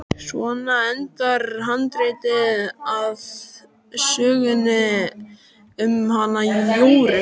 Svona endar handritið að sögunni um hana Jóru.